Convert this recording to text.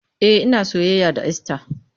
E, ina soyayya da Esther.